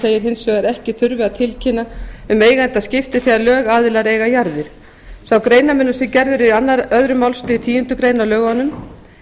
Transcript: segir hins vegar að ekki þurfi að tilkynna um eigendaskipti þegar lögaðilar eiga jarðir sá greinarmunur sem gerður er í öðrum málsl tíundu greinar á lögaðilum